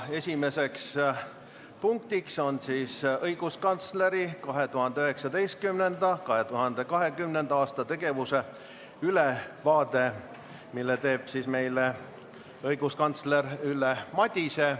Esimene punkt on õiguskantsleri 2019.–2020. aasta tegevuse ülevaade, mille annab meile õiguskantsler Ülle Madise.